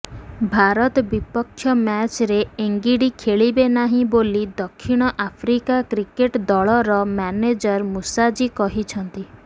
ଭାରତ ବିପକ୍ଷ ମ୍ୟାଚ୍ରେ ଏନ୍ଗିଡ଼ି ଖେଳିବେନାହିଁ ବୋଲି ଦକ୍ଷିଣ ଆଫ୍ରିକା କ୍ରିକେଟ ଦଳର ମ୍ୟାନେଜର ମୁସାଜୀ କହିଛନ୍ତି